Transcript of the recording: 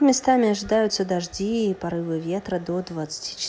местами ожидаются дожди и порывы ветра до двадцати ч